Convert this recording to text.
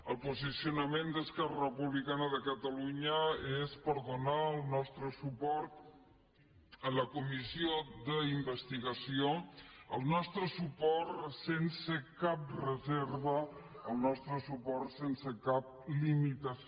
el posicionament d’esquerra republicana de catalunya és per donar el nostre suport a la comissió d’investigació el nostre suport sense cap reserva el nostre suport sense cap limitació